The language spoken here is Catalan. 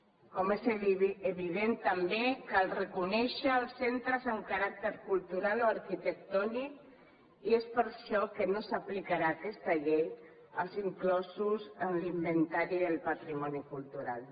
com és evident també cal reconèixer els centres amb caràcter cultural o arquitectònic i és per això que no s’aplicarà aquesta llei als inclosos en l’inventari del patrimoni cultural